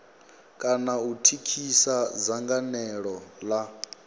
kana u thithisa dzangalelo la